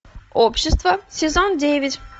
общество сезон девять